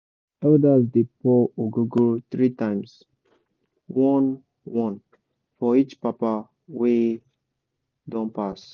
elders dey pour ogogoro three times — one-one for each papa dem wey don pass.